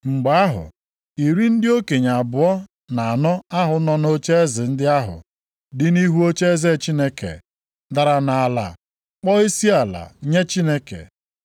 Mgbe ahụ, iri ndị okenye abụọ na anọ ahụ nọ nʼocheeze ndị ahụ dị nʼihu ocheeze Chineke dara nʼala kpọọ isiala nye Chineke,